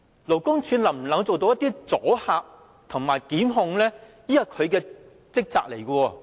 勞工處能否發揮阻嚇及檢控的功能呢？